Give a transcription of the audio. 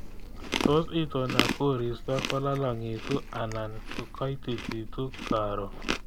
Tos itondab koristo kolalangitu anan koitititu karon